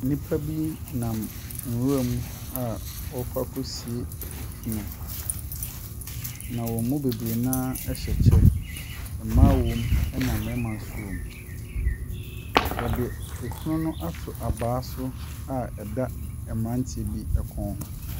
Nnipa bi nam nwura mu a wɔrekɔ akɔsi funu. Na wɔn mu bebree no ara hyɛ kyɛ. Mmaa wɔm na mmarima nso wɔ mu. Wɔde afunu no ato abaa so a ɛda mmeranteɛ bi kɔn ho.